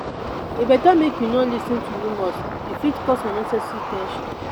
e better make you no lis ten to rumors; e fit cause unnecessary ten sion.